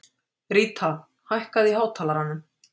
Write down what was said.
Ríta, hækkaðu í hátalaranum.